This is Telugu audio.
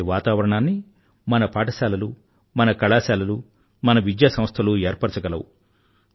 ఇలాంటి వాతావరణాన్ని మన పాఠశాలలు మన కళాశాలలు మన విద్యా సంస్థలు ఏర్పరచగలవు